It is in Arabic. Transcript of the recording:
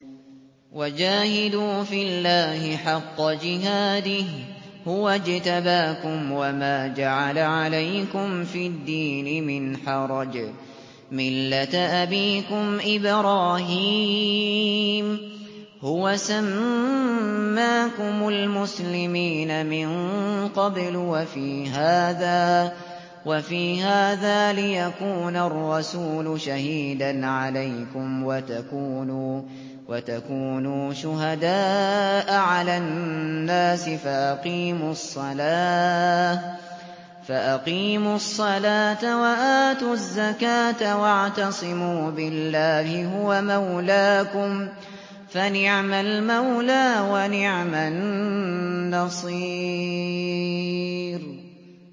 وَجَاهِدُوا فِي اللَّهِ حَقَّ جِهَادِهِ ۚ هُوَ اجْتَبَاكُمْ وَمَا جَعَلَ عَلَيْكُمْ فِي الدِّينِ مِنْ حَرَجٍ ۚ مِّلَّةَ أَبِيكُمْ إِبْرَاهِيمَ ۚ هُوَ سَمَّاكُمُ الْمُسْلِمِينَ مِن قَبْلُ وَفِي هَٰذَا لِيَكُونَ الرَّسُولُ شَهِيدًا عَلَيْكُمْ وَتَكُونُوا شُهَدَاءَ عَلَى النَّاسِ ۚ فَأَقِيمُوا الصَّلَاةَ وَآتُوا الزَّكَاةَ وَاعْتَصِمُوا بِاللَّهِ هُوَ مَوْلَاكُمْ ۖ فَنِعْمَ الْمَوْلَىٰ وَنِعْمَ النَّصِيرُ